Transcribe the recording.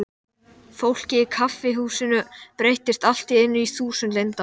Fólkið í kaffihúsinu breyttist allt í einu í þúsund leyndarmál.